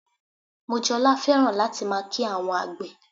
Mojola fẹ́ràn láti máa kí àwọn àgbè